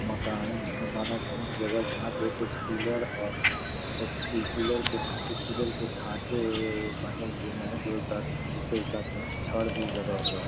मकान धिन माना धिन जगह जहाँ पे कुछ पिलर और पि पिलर के कुछ पिलर के ढांचे बने हुऐ है जो साथ में जिसके साथ में छड़ भी लगा हुआ है।